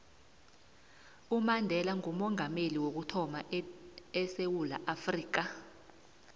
umandela ngoomongameli wokuthama edewula afrika